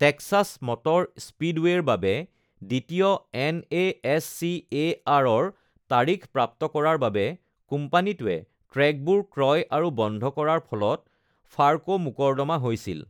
Texas Motor Speedway বাবে দ্বিতীয় এন.এ.এছ.চি.এ.আৰ-ৰ তাৰিখ প্ৰাপ্ত কৰাৰ বাবে কোম্পানীটোৱে ট্ৰেকবোৰ ক্ৰয় আৰু বন্ধ কৰাৰ ফলত ফাৰ্কো মোকৰ্দমা হৈছিল।